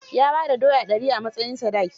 Ya ba da doya dari a matsayin sadaki.